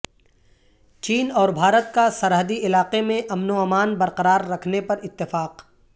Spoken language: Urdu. چین اور بھارت کا سرحدی علاقے میں امن و امان برقرار رکھنے پر اتفاق